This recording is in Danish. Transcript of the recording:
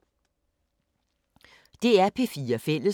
DR P4 Fælles